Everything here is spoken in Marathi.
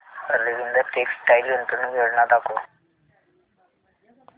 अरविंद टेक्स्टाइल गुंतवणूक योजना दाखव